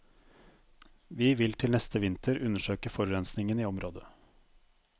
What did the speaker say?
Vi vil til neste vinter undersøke forurensingen i området.